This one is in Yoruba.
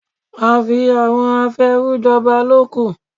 Àfi àwọn afèèrú jọba ló kù.